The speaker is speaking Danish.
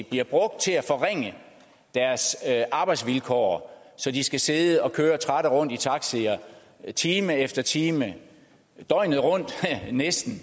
bliver brugt til at forringe deres arbejdsvilkår så de skal sidde og køre trætte rundt i taxierne time efter time døgnet rundt eller næsten